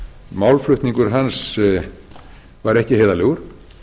málflutningur hans var ekki heiðarlegur